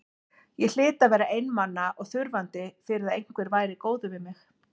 Ég hlyti að vera einmana og þurfandi fyrir að einhver væri góður við mig.